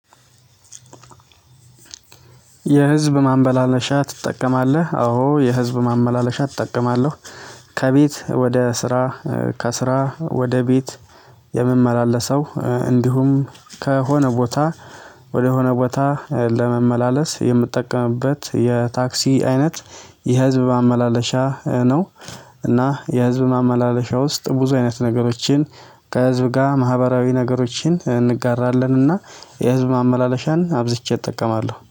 የህዝብ ማመላለሻ ትጠቀማለህ? አዎ የህዝብ ማመላለሻ እጠቀማለሁ ከቤት ወደ ስራ ከስራ ወደ ቤት የምመላለሰው እንዲሁም ከሆነ ቦታ ወደሆነ ቦታ ለመመላለስ የምጠቀምበት የታክሲ አይነት የህዝብ ማመላለሻ ነው እና የህዝብ ማመላለሻ ውስጥ ብዙ አይነት ነገሮችን ከህዝብ ጋር ማህበራዊ ነገሮችን እንጋራለን እና የህዝብ ማመላለሻን አብዝቼ እጠቀማለሁ